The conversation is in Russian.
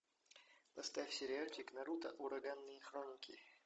поставь сериальчик наруто ураганные хроники